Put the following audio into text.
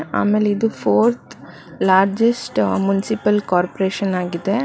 ಆಮೇಲೆ ಇದು fourth largest municipal corporation ಆಗಿದೆ.